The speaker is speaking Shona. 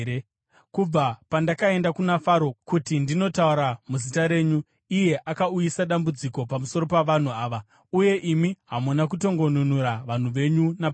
Kubva pandakaenda kuna Faro kuti ndinotaura muzita renyu, iye akauyisa dambudziko pamusoro pavanhu ava, uye imi hamuna kutongonunura vanhu venyu napaduku.”